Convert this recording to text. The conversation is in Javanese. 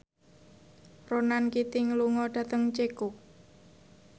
Ronan Keating lunga dhateng Ceko